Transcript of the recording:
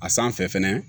A sanfɛ fɛnɛ